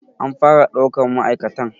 An fara ɗaukan ma'aikatan.